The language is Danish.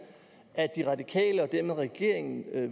at de radikale og dermed regeringen i